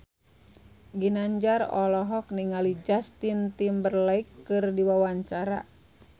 Ginanjar olohok ningali Justin Timberlake keur diwawancara